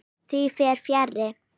Því fer fjarri.